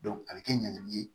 a bɛ kɛ ɲɛnamini ye